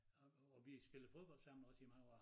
Og og vi spillede fodbold sammen også i mange år